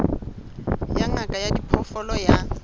ya ngaka ya diphoofolo ya